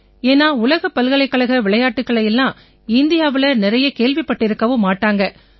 ஏன்னா உலகப் பல்கலைக்கழக விளையாட்டுக்களை எல்லாம் இந்தியாவுல நிறைய கேள்விப்பட்டிருக்கவும் மாட்டாங்க